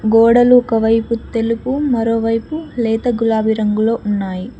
గోడలు ఒకవైపు తెలుగు మరోవైపు లేత గులాబీ రంగులో ఉన్నాయి.